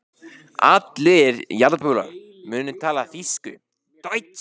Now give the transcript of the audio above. Allir jarðarbúar munu tala þýsku.